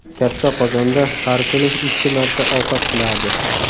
Katta qozonda har kuni ikki marta ovqat qilardi.